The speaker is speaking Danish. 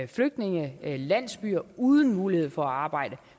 flygtningelandsbyer uden mulighed for at arbejde